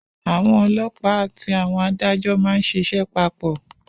Àwọn ọlọ́pàá àti àwọn adájọ́ má ń ṣíṣe papọ̀